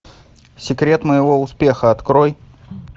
секрет моего успеха открой